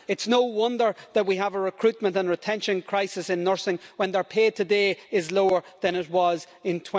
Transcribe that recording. It's no wonder that we have a recruitment and retention crisis in nursing when their pay today is lower than it was in